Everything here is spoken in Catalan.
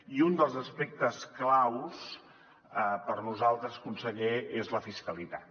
i un dels aspectes claus per nosaltres conseller és la fiscalitat